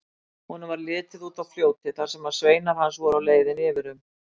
Honum varð litið út á fljótið þar sem sveinar hans voru á leiðinni yfir um.